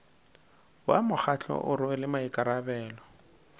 wa mokgatlo o rwele maikarabelo